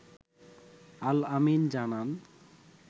আল আমিন জানান